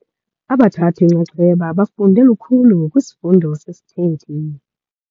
Abathathi-nxaxheba bafunde lukhulu kwisifundo sesithethi.